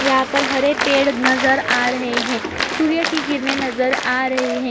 यहाँ पर हरे पेड़ नज़र आ रहे हैं। सूर्य की किरणें नज़र आ रहे हैं।